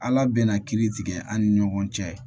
Ala bɛna kiiri tigɛ an ni ɲɔgɔn cɛ